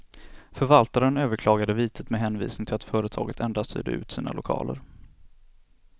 Förvaltaren överklagade vitet med hänvisning till att företaget endast hyrde ut sina lokaler.